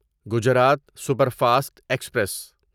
Gujarat superfast express